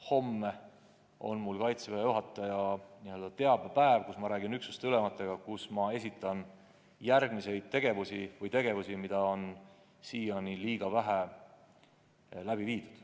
Homme on Kaitseväe juhataja teabepäev, kus ma räägin üksuste ülematega, kus ma esitlen järgmisi tegevusi, sh tegevusi, mida on siiani liiga vähe läbi viidud.